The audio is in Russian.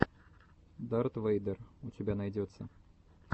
дарт вэйдер у тебя найдется